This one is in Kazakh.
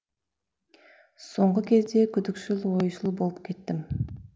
соңғы кезде күдікшіл ойшыл болып кеттім